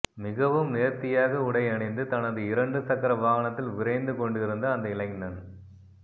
மிகவும் நேர்த்தியாக உடையணிந்து தனது இரண்டு சக்கர வாகனத்தில் விரைந்து கொண்டிருந்த அந்த இளைஞ